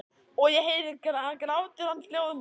Og ég heyri að grátur hans hljóðnar.